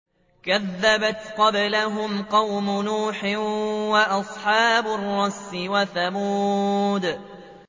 كَذَّبَتْ قَبْلَهُمْ قَوْمُ نُوحٍ وَأَصْحَابُ الرَّسِّ وَثَمُودُ